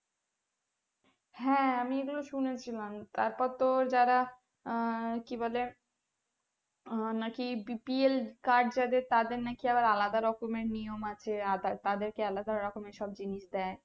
হ্যাঁ আমি এইগুলো শুনে ছিলাম তারপর তো যারা আহ কি বলে নাকি bpl যাদের তাদের নাকি আলাদা রকমের নিয়ম আছে আদার তাদের কে আলাদা রকমের জিনিস দেয়